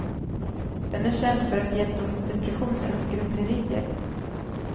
Den är känd för att hjälpa mot depressioner och grubblerier.